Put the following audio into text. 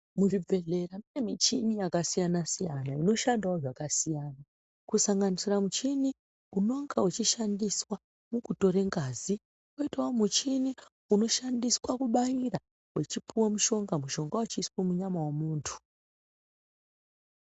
Muzvibhedhlera mune michini yakasiyana-siyana inoshandawo zvakasiyana, kusanganisira muchini unonga uchishandiswa mukutore ngazi, kwoitawo muchini unoshandiswa kubayira uchipiwa mushonga, mushonga wechiiswa munyama yemuntu.